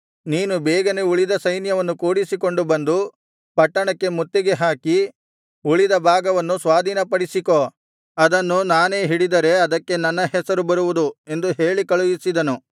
ನೀನು ಬೇಗನೆ ಉಳಿದ ಸೈನ್ಯವನ್ನು ಕೂಡಿಸಿಕೊಂಡು ಬಂದು ಪಟ್ಟಣಕ್ಕೆ ಮುತ್ತಿಗೆ ಹಾಕಿ ಉಳಿದ ಭಾಗವನ್ನು ಸ್ವಾಧೀನಪಡಿಸಿಕೋ ಅದನ್ನು ನಾನೇ ಹಿಡಿದರೆ ಅದಕ್ಕೆ ನನ್ನ ಹೆಸರು ಬರುವುದು ಎಂದು ಹೇಳಿ ಕಳುಹಿಸಿದನು